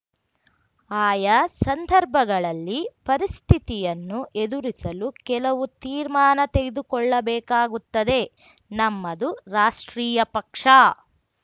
ಆಯಾ ಸಂದರ್ಭಗಳಲ್ಲಿ ಪರಿಸ್ಥಿತಿಯನ್ನು ಎದುರಿಸಲು ಕೆಲವು ತೀರ್ಮಾನ ತೆಗೆದುಕೊಳ್ಳಬೇಕಾಗುತ್ತದೆ ನಮ್ಮದು ರಾಷ್ಟ್ರೀಯ ಪಕ್ಷ